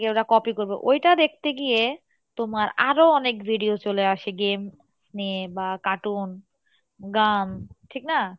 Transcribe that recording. ওরা copy করবে, ওইটা দেখতে গিয়ে তোমার আরও অনেক video চলে আসে game নিয়ে বা cartoon গান ঠিক না?